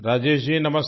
राजेश जी नमस्ते